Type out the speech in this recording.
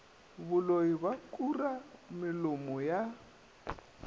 boloi ba kura melomo ya